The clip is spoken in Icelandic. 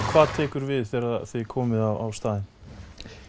hvað tekur við þegar þið komið á staðinn